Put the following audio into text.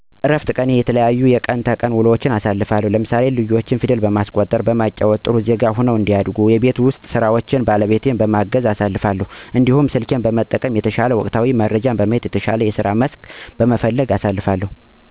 በረፍት ቀኔ የተለያዩ የቀን ተቀን ውሎዎችን አሳልፋለሁ ለምሳሌ ልጆቼን ፊደል በማስቆጠር እና በማጫዎት ጥሩ ዜጋ ሁነው እንዲቀጥሉ እሰራለሁ። ሌላው የቤት ውስጥ ስራዎችን ባለቤቴን በማገዝ አሳልፋለሁ። እንዲሁም ስልኬን በመጠቀም የተለያዩ ወቅታዊ መረጃዎችን በመከታተል እና በየቀኑ የሚወጡ የተሻሉ የስራ መስኮችን በመጎርጎር ትቂት ጊዜያትን አሳልፋለሁ።